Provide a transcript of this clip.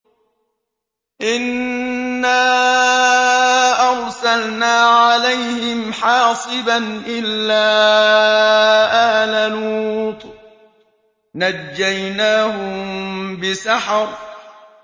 إِنَّا أَرْسَلْنَا عَلَيْهِمْ حَاصِبًا إِلَّا آلَ لُوطٍ ۖ نَّجَّيْنَاهُم بِسَحَرٍ